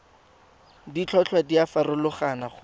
ditlhotlhwa di a farologana go